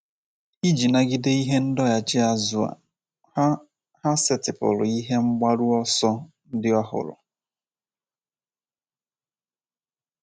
Iji nagide ihe ndọghachi azụ a, ha, ha setịpụrụ ihe mgbaru ọsọ ndị ọhụrụ.